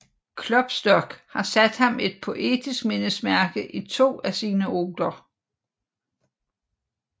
Klopstock har sat ham et poetisk mindesmærke i to af sine oder